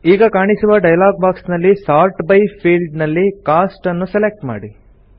ಈಗ ಕಾಣಿಸುವ dialog box ನಲ್ಲಿ ಸೋರ್ಟ್ ಬೈ ಫೀಲ್ಡ್ ನಲ್ಲಿ ಕೋಸ್ಟ್ ನ್ನು ಸೆಲೆಕ್ಟ್ ಮಾಡಿ